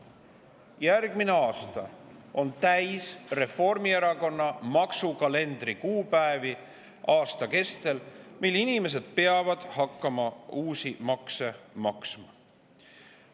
Järgmine aasta on täis Reformierakonna maksukalendri kuupäevi, mil inimesed peavad hakkama uusi makse maksma.